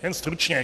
Jen stručně.